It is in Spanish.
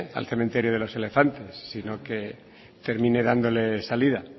al cementerio de los elefantes sino que termine dándole salida